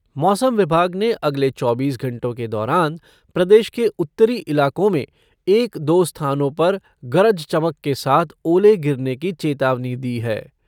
मौसम विभाग ने अगले चौबीस घंटों के दौरान प्रदेश के उत्तरी इलाकों में एक दो स्थानों पर गरज चमक के साथ ओले गिरने की चेतावनी दी है।